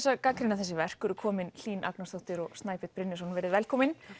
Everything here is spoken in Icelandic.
að gagnrýna þessi verk eru komin Hlín Agnarsdóttir og Snæbjörn Brynjólfsson verið velkomin